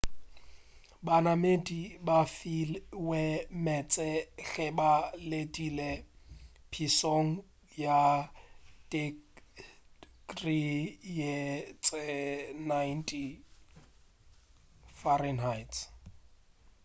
banamedi ba filwe meetse ge ba letile phišong ya tekrii tše-90f